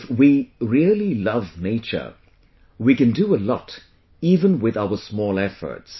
If we really love nature, we can do a lot even with our small efforts